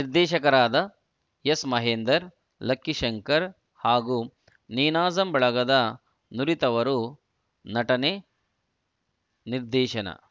ನಿರ್ದೇಶಕರಾದ ಎಸ್‌ಮಹೇಂದರ್‌ ಲಕ್ಕಿ ಶಂಕರ್‌ ಹಾಗೂ ನೀನಾಸಂ ಬಳಗದ ನುರಿತವರು ನಟನೆ ನಿರ್ದೇಶನ